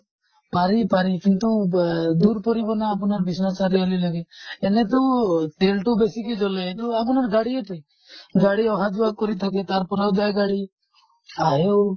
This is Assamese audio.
পাৰি পাৰি কিন্তু ৱে দূৰ পৰিব না আপোনাৰ বিশ্বনাথ চাৰিআলি লৈকে। এনেতো তেল্তো বেছিকে জ্বলে আপোনাৰ গাড়ীয়েটো গাড়ী অহা যোৱা কৰি থাকে। তাৰ পৰাও যায় গাড়ী, আহেও